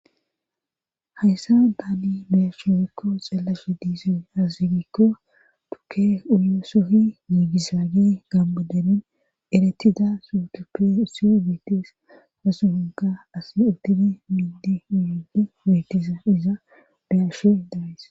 Hayssa daali beyashugikko xeellashe diisey hassigikko tukke uyuossohi yiigisaage gambodenin eretida sutup su betes hasuhinka as udtini miidi uyigi witisa iza beyashe daayis.